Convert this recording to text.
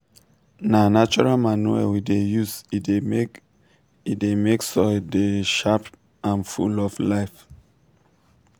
na natural manure we dey use e dey make e dey make soil dey sharp and full of life.